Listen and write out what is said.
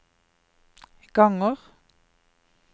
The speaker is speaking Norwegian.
ganger